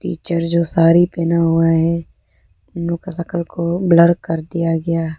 Teacher जो साड़ी पहना हुआ है उन लोग का शक्ल को ब्लर कर दिया गया।